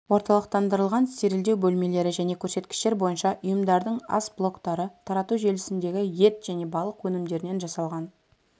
орталықтандырылған стерильдеу бөлмелері және көрсеткіштер бойынша ұйымдардың ас блоктары тарату желісіндегі ет және балық өнімдерінен жасалған